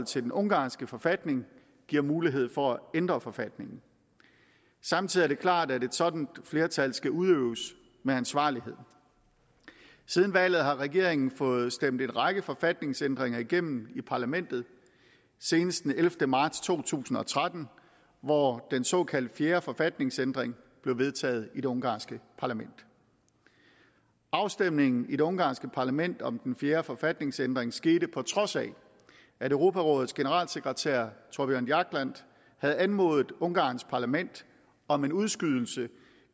til den ungarske forfatning giver mulighed for at ændre forfatningen samtidig er det klart at et sådant flertals magt skal udøves med ansvarlighed siden valget har regeringen fået stemt en række forfatningsændringer igennem i parlamentet senest den ellevte marts to tusind og tretten hvor den såkaldte fjerde forfatningsændring blev vedtaget i det ungarske parlament afstemningen i det ungarske parlament om den fjerde forfatningsændring skete på trods af at europarådets generalsekretær thorbjørn jagland havde anmodet ungarns parlament om en udskydelse